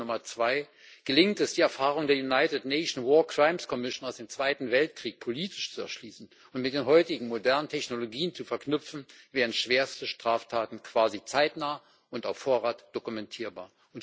Lehre Nummer 2 Gelingt es, die Erfahrungen der United Nation War Crimes Commission aus dem Zweiten Weltkrieg politisch zu erschließen und mit den heutigen modernen Technologien zu verknüpfen, wären schwerste Straftaten quasi zeitnah und auf Vorrat dokumentierbar.